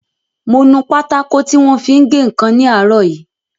Mo nu pátákò tí wọ́n fi ń gé ǹkan ní àárọ̀ yìí